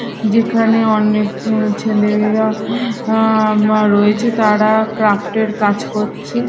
যেখানে অনেক উঁ ছেলেমেয়েরা অ্যা রয়েছে তারা ক্রাফ্ট -এর কাজ করছে।